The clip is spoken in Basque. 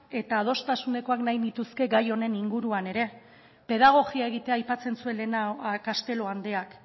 eta adostasunezkoak nahi nituzke gai honen inguruan ere pedagogia egitea aipatzen zuen lehenago castelo andreak